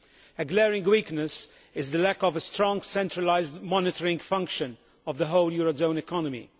A glaring weakness is the lack of a strong centralised monitoring function of the whole eurozone economy.